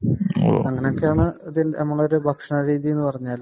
അങ്ങനെയൊക്കെയാണ് നമ്മളെ ഒരു ഭക്ഷണ രീതി എന്ന് പറഞ്ഞാൽ